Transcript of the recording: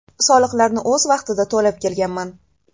Soliqlarni o‘z vaqtida to‘lab kelganman.